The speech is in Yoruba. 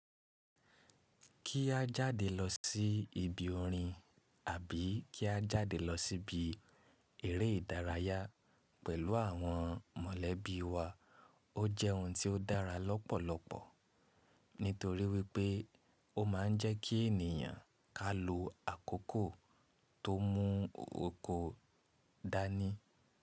Kí á jáde lọ sí ibi orin àbí kí á jáde lọ sí ibi eré ìdárayá pẹ̀lú àwọn mọ̀lẹ́bí wa ó jẹ́ ohun tí ó dára lọ́pọ̀lọpọ̀ nítorí wípé ó ma ń jẹ́ kí ènìyàn ká lo àkókò tó mú oko dání.